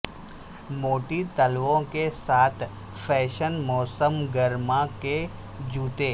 موٹی تلووں کے ساتھ فیشن موسم گرما کے جوتے